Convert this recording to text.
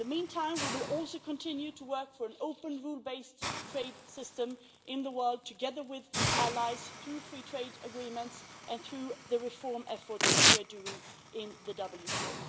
In the meantime, we will also continue to work for an open rule based trade system in the world, together with allies, through free trade agreements and through the reform efforts that we are doing in the WTO.